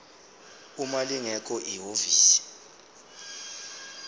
uma lingekho ihhovisi